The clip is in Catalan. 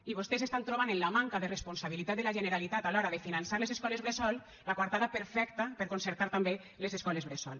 i vostès estan trobant en la manca de responsabilitat de la generalitat a l’hora de finançar les escoles bressol la coartada perfecta per concertar també les escoles bressol